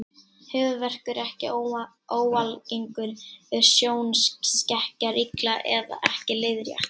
Höfuðverkur er ekki óalgengur ef sjónskekkja er illa eða ekki leiðrétt.